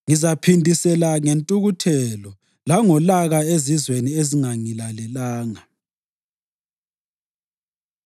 Ngizaphindisela ngentukuthelo langolaka ezizweni ezingangilalelanga.”